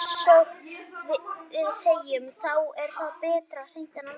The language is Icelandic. Eins og við segjum, þá er betra seint en aldrei.